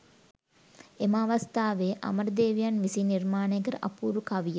එම අවස්ථාවේ අමරදේවයන් විසින් නිර්මාණය කළ අපූරු කවිය